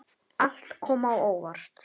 Allt kom á óvart.